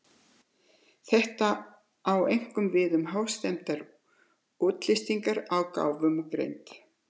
Þetta á einkum við um hástemmdar útlistanir á gáfum og greind.